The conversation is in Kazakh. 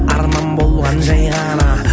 арман болған жай ғана